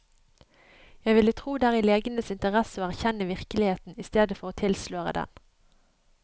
Jeg ville tro det er i legenes interesse å erkjenne virkeligheten i stedet for å tilsløre den.